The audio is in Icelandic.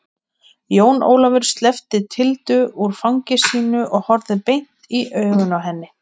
Jón Ólafur sleppti Tildu úr fangi sínu og horfði beint i augun á henni.